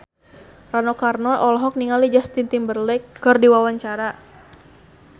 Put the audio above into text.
Rano Karno olohok ningali Justin Timberlake keur diwawancara